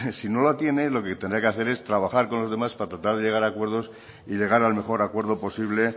si no la tiene lo que tendría que hacer es trabajar con los demás para tratar de llegar a acuerdos y llegar al mejor acuerdo posible